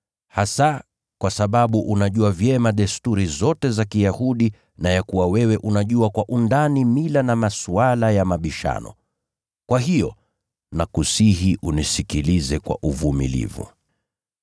hasa kwa sababu unajua vyema desturi zote za Kiyahudi na ya kuwa wewe unajua kwa undani mila na masuala ya mabishano. Kwa hiyo, nakusihi unisikilize kwa uvumilivu.